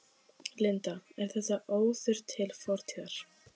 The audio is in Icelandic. Linda: Er þetta óður til fortíðar?